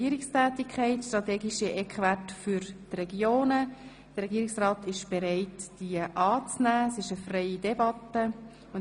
Aebi (Hellsau, SVP) 55 23.03.2017 vom 10. Mai 2017 Justiz-, Gemeinde- und Kirchendirektion Abstimmung